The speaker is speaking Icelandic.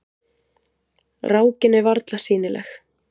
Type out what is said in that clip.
Rákin er varla sýnileg.